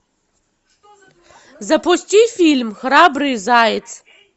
запусти фильм храбрый заяц